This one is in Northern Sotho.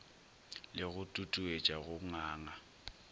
le go tutuetša go nganga